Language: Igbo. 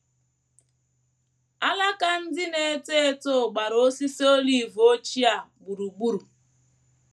Alaka ndị na - eto eto gbara osisi olive ochie a gburugburu